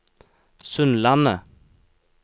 Sundlandet